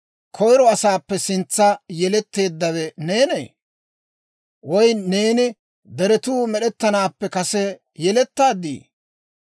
«Koyiro asaappe sintsa yeletteeddawe neenee? Woy neeni deretuu med'ettanaappe kase yelettaaddii?